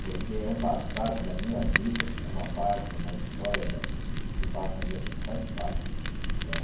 Porque é um passado na minha vida, é uma parte, é uma história da que passa na minha vida e que faz parte, né?